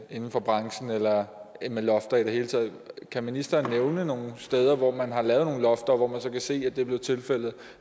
inden for branchen eller med lofter i det hele taget kan ministeren nævne nogle steder hvor man har lavet nogle lofter og hvor man så kan se at det blev tilfældet